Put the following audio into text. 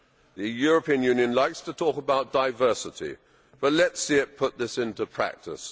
The European Union likes to talk about diversity, but let us see it put this into practice.